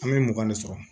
An bɛ mugan de sɔrɔ